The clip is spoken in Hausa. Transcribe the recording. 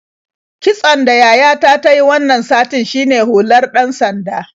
Kitson da yayata ta yi wannan satin shine hular ɗan-sanda.